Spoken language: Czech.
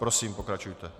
Prosím pokračujte.